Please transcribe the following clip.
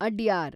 Adyar